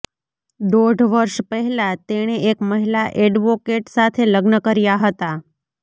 દોઢ વર્ષ પહેલા તેણે એક મહિલા એડવોકેટ સાથે લગ્ન કર્યા હતા